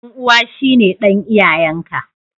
Dan'uwa shine dan iyayen ka.